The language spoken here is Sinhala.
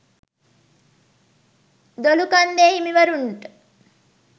දොළුකන්දේ හිමිවරුනට